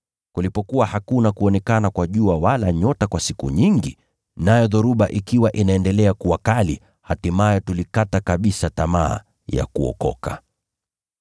Kulipokuwa hakuna kuonekana kwa jua wala nyota kwa siku nyingi, nayo dhoruba ikiwa inaendelea kuwa kali, hatimaye tulikata kabisa tamaa ya kuokoka.